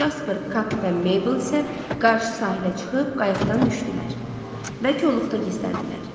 Jasper, Kap və Meybl isə qarşı sahilə çıxıb qayıqdan düşdülər və koluqda gizləndilər.